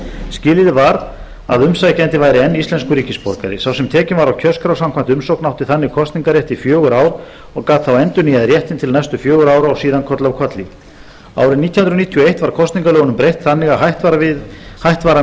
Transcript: skilyrði var að umsækjandi væri enn íslenskur ríkisborgari sá sem tekinn var á kjörskrá samkvæmt umsókn átti þannig kosningarrétt í fjögur ár og gat þá endurnýjað réttinn til næstu fjögurra ára og síðan koll af kolli árið nítján hundruð níutíu og eitt var kosningalögunum breytt þannig að hætt var að miða